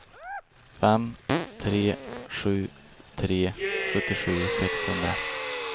fem tre sju tre sjuttiosju sexhundra